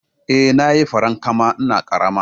Eh, Nayi farankama ina ƙarama